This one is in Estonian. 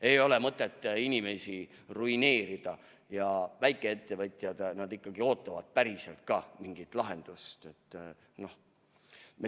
Ei ole mõtet inimesi ruineerida ja väikeettevõtjad ikkagi ootavad mingit päris lahendust.